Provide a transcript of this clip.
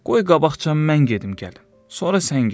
Qoy qabaqca mən gedim gəlin, sonra sən get.